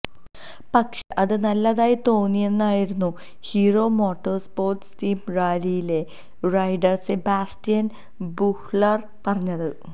പക്ഷേ അത് നല്ലതായി തോന്നിയെന്നായിരുന്നു ഹീറോ മോട്ടോസ്പോര്ട്സ് ടീം റാലിയിലെ റൈഡര് സെബാസ്റ്റ്യന് ബുഹ്ലര് പറഞ്ഞത്